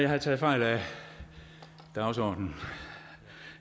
havde taget fejl af dagsordenen